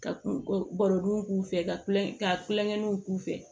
Ka kun ga galo k'u fɛ ka kulon kɛ ka kulonkɛw k'u fɛ